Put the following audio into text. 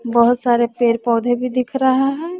बहुत सारे पेड़ पौधे भी दिख रहे हैं।